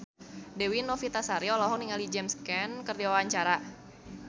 Dewi Novitasari olohok ningali James Caan keur diwawancara